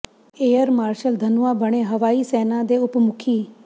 air marshal Dhanoa ਬਣੇ ਹਵਾਈ ਸੈਨਾ ਦੇ ਉਪ ਮੁਖੀ